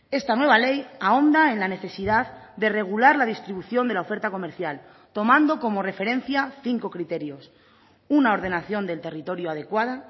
esta nueva ley ahonda en la necesidad de regular la distribución de la oferta comercial tomando como referencia cinco criterios una ordenación del territorio adecuada